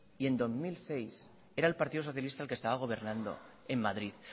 y en dos mil seis era el partido socialista el que estaba gobernando en madrid